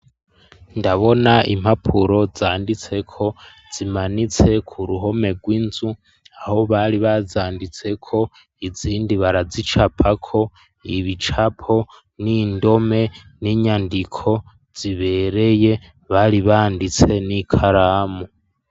Ndabona impapuro zanditse ko zimanitse ku ruhome rw'inzu aho bari bazanditse ko izindi barazicapa ko ibicapo n'indome n'inyandiko zibereye bari banditse n'ikaramu.